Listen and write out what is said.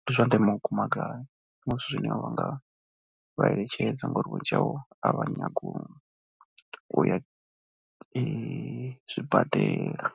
ndi zwa ndeme makumba gai. Ndi zwithu zwine vha nga vha eletshedza ngori vhunzhi havho a vha nyagi u u ya zwibadela.